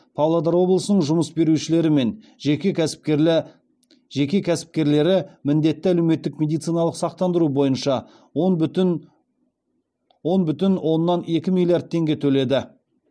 павлодар облысының жұмыс берушілері мен жеке кәсіпкерлері міндетті әлеуметтік медициналық сақтандыру бойынша он бүтін оннан екі миллиард теңге төледі